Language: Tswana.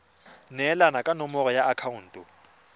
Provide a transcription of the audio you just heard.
neelana ka nomoro ya akhaonto